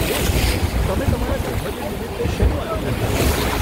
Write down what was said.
હે, તમે તમારા જન્મદિન નિમિત્તે શેનું આયોજન કરો છો?